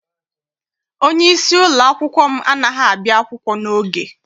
Onyeisi ụlọakwụkwọ m anaghị abịa akwụkwọ n'oge.